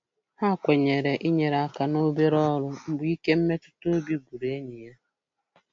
Ha kwenyere inyere aka n'obere ọrụ mgbe ike mmetụtaobi gwụrụ enyi ya.